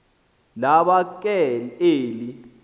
laba ke eli